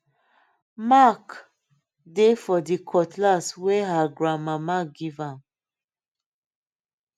mark dey for the cutlass wey her grandmama give am